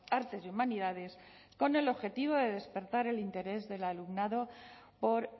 artes y humanidades con el objetivo de despertar el interés del alumnado por